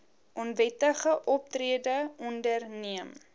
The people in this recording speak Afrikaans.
onwettige optrede onderneem